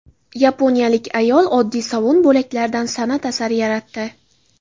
Yaponiyalik ayol oddiy sovun bo‘laklaridan san’at asari yaratdi .